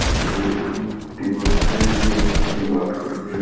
और एक दिवार बनायेड़ी है बीके लाल कलर की --